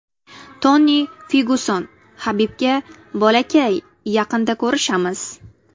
Toni Fergyuson Habibga: Bolakay, yaqinda ko‘rishamiz!.